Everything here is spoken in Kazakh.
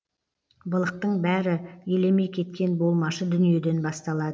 былықтың бәрі елемей кеткен болмашы дүниеден басталады